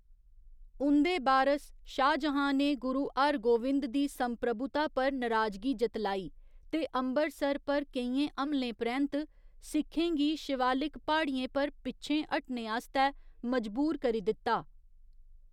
उं'दे बारस, शाहजहां ने गुरु हरगोविंद दी संप्रभुता पर नराजगी जतलाई ते अम्बरसर पर केइयें हमलें परैंत्त सिखें गी शिवालिक प्हाड़ियें पर पिच्छें हटने आस्तै मजबूर करी दित्ता।